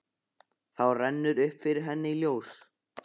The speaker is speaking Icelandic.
Þá rennur upp fyrir henni ljós.